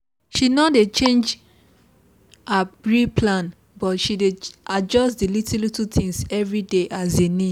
she no dey change her real plan but she dey adjust the little little things every day as e need